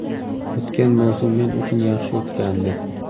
O‘tgan mavsum men uchun yaxshi o‘tgandi.